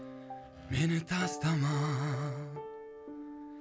мені тастама